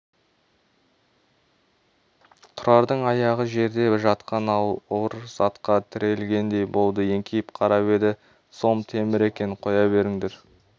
тұрардың аяғы жерде жатқан ауыр затқа тірелгендей болды еңкейіп қарап еді сом темір екен қоя беріңдер